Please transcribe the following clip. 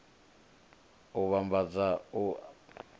u vhambadza u davhidzana na